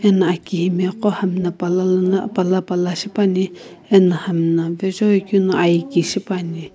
ano aki imagho hamna pala lono pala pala shipane ano hamna vazoi keu no air ki shipane.